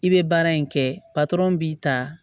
I bɛ baara in kɛ patɔrɔn b'i ta